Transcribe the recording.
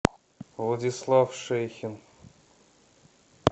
владислав шейхин